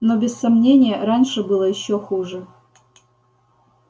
но без сомнения раньше было ещё хуже